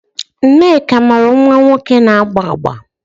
Nneka mụrụ nwa nwoke na-agba agba